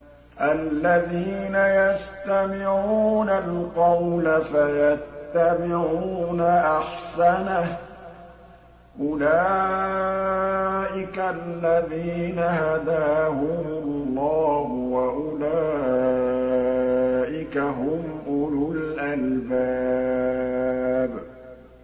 الَّذِينَ يَسْتَمِعُونَ الْقَوْلَ فَيَتَّبِعُونَ أَحْسَنَهُ ۚ أُولَٰئِكَ الَّذِينَ هَدَاهُمُ اللَّهُ ۖ وَأُولَٰئِكَ هُمْ أُولُو الْأَلْبَابِ